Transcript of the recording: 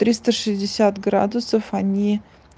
триста шестьдесят градусов они